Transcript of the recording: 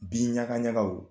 Bi ɲaga ɲaga